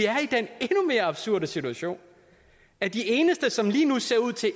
er absurde situation at de eneste som lige nu ser ud til